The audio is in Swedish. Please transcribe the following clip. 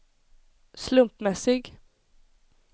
slumpmässig